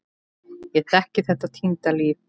Ég þekki þetta týnda líf.